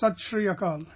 Sat Shri Akal